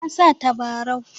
Na sa tabarau.